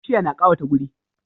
Bishiya na kawata guri